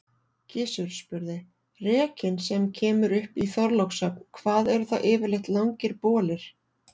Gizur spurði:-Rekinn sem kemur upp í Þorlákshöfn, hvað eru það yfirleitt langir bolir?